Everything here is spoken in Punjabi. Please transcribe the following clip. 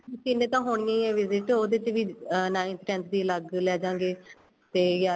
ਤਿੰਨ ਤਾਂ ਹੁੰਨੀ ਏ visit ਉਹਦੇ ਤੇ ਵੀ ninth tenth ਦੀ ਅਲੱਗ ਲੈਜਾਂਗੇ ਤੇ ਗਿਆਰਵੀ